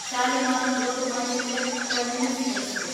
Shalimar Lokmanya Tilak terminus express